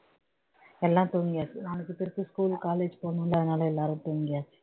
எல்லாம் தூங்கியாச்சு நாளைக்கு திருப்பி school college போகணும்லஅதனால எல்லாரும் தூங்கியாச்சு